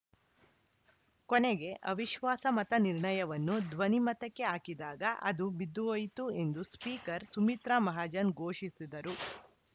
ಕೊನೆಗೆ ಅವಿಶ್ವಾಸಮತ ನಿರ್ಣಯವನ್ನು ಧ್ವನಿಮತಕ್ಕೆ ಹಾಕಿದಾಗ ಅದು ಬಿದ್ದು ಹೋಯಿತು ಎಂದು ಸ್ಪೀಕರ್‌ ಸುಮಿತ್ರಾ ಮಹಾಜನ್‌ ಘೋಷಿಸಿದರು